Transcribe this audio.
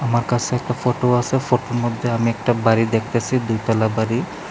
একটা ফটো আছে ফটোর মধ্যে আমি একটা বাড়ি দেখতাছি দুতলা বাড়ি।